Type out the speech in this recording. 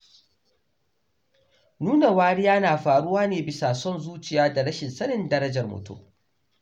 Nuna wariya na faruwa ne bisa son zuciya da rashin sanin darajar mutum